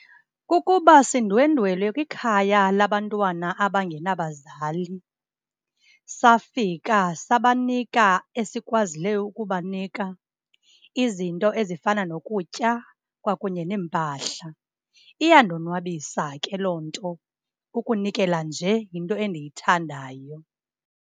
Kukuba sindwendwele kwikhaya labantwana abangenabazali. Safika sabanika esikwazileyo ukubanika. Izinto ezifana nokutya kwakunye neempahla. Iyandonwabisa ke loo nto, ukunikela nje yinto endiyithandayo.